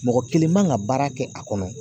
Mɔgɔ kelen man ka baara kɛ a kɔnɔ.